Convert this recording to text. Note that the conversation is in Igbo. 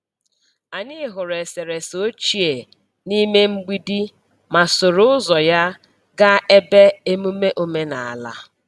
Anyị hụrụ eserese ochie n’ime mgbidi ma soro ụzọ ya gaa ebe emume omenala.